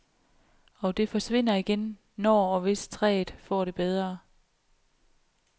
Og det forsvinder igen, når og hvis træet får det bedre.